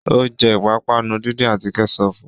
Ó jẹ́ ìpápánu díndín àti Kẹ́ṣọpù